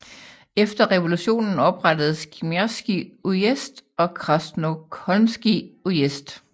Efter revolutionen oprettedes Kimrskij ujezd og Krasnokholmskij ujezd